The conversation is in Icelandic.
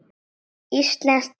Íslensk rit